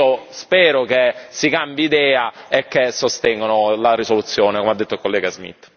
Quindi, io spero che cambino idea e che sostengano la risoluzione, come ha detto il collega Smith.